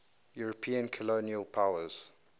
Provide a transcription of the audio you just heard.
european colonial powers